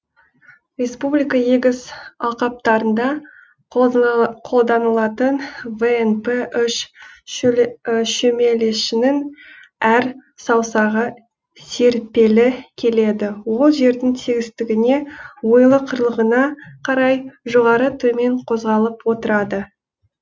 республика егіс алқаптарында қолданылатын внп шөмелешінің әр саусағы серіппелі келеді ол жердің тегістігіне ойлы қырлығына қарай жоғары төмен қозғалып отырады